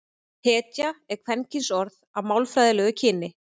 hetja er kvenkynsorð að málfræðilegu kyni